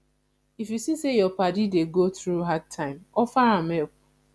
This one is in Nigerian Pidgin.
if yu see say yur padi dey go thru hard time offer am help